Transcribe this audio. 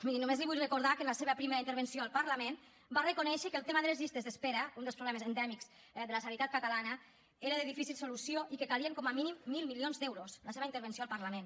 miri només li vull recordar que en la seva primera intervenció al parlament va reconèixer que el tema de les llistes d’espera un dels problemes endèmics de la sanitat catalana era de difícil solució i que calien com a mínim mil milions d’euros en la seva intervenció al parlament